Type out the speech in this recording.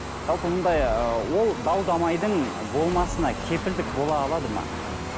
жалпы мұндай ы ол дау дамайдың болмасына кепілдік бола алады ма